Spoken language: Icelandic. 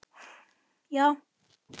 Já!